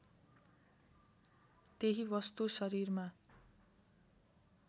त्यही वस्तु शरीरमा